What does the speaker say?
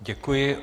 Děkuji.